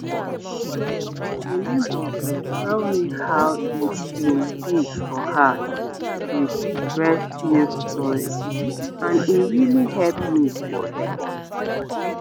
my neighbor been tell me how e been be for her with breast milk storage and e really help me prepare